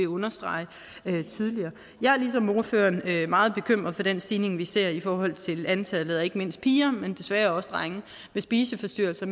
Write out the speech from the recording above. understreget tidligere jeg er ligesom ordføreren meget bekymret for den stigning vi ser i forhold til antallet af ikke mindst piger men desværre også drenge med spiseforstyrrelser